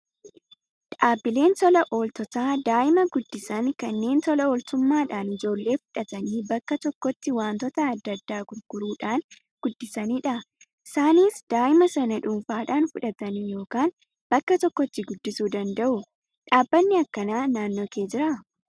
Dhaabbiileen tola ooltotaa daa'ima guddisan kanneen tola ooltummaadhaan ijoollee fudhatanii bakka tokkotti wantoota adda addaa gargaaruudhaan guddisanidha. Isaanis daa'ima sana dhuunfaan fudhatanii yookaan bakka tokkotti guddisuu danda'u. Dhaabbanni akkanaa naannoo kee jiraa?